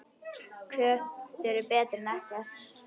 Köttur er betri en ekkert.